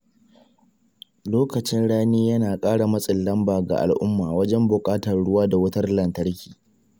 Lokacin rani yana ƙara matsin lamba ga al'umma wajen buƙatar ruwa da wutar lantarki.